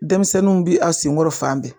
Denmisɛnninw bi a senkɔrɔ fan bɛɛ